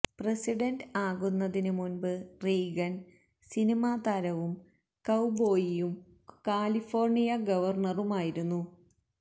president ആകുന്നതിനു മുൻപ് Reagan സിനിമാ താരവും കൌബോയിയും കാലിഫോർണിയ ഗവർണറുമായിരുന്നു